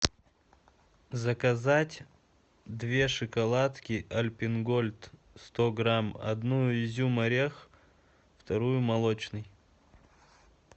заказать две шоколадки альпен гольд сто грамм одну изюм орех вторую молочный